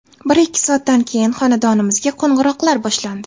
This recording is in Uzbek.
Bir-ikki soatdan keyin xonadonimizga qo‘ng‘iroqlar boshlandi.